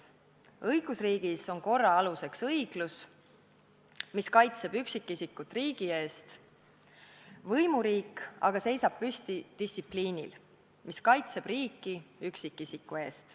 Õigusriigis on korra aluseks õiglus, mis kaitseb üksikisikut riigi eest, võimuriik aga seisab püsti distsipliinis, mis kaitseb riiki üksikisiku eest.